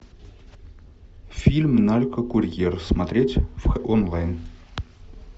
фильм наркокурьер смотреть онлайн